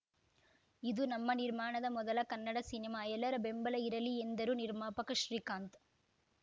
ಇದು ನಮ್ಮ ನಿರ್ಮಾಣದ ಮೊದಲ ಕನ್ನಡ ಸಿನಿಮಾ ಎಲ್ಲರ ಬೆಂಬಲ ಇರಲಿ ಎಂದರು ನಿರ್ಮಾಪಕ ಶ್ರೀಕಾಂತ್‌